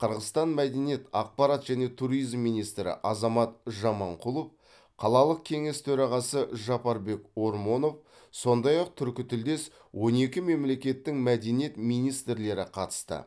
қырғызстан мәдениет ақпарат және туризм министрі азамат жаманқұлов қалалық кеңес төрағасы жапарбек ормонов сондай ақ түркітілдес он екі мемлекеттің мәдениет министрлері қатысты